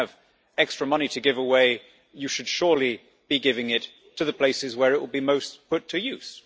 If you have extra money to give away you should surely be giving it to the places where it will be most put to use.